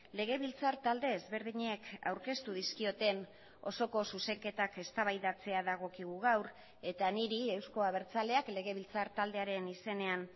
legebiltzar talde ezberdinek aurkeztu dizkioten osoko zuzenketak eztabaidatzea dagokigu gaur eta niri euzko abertzaleak legebiltzar taldearen izenean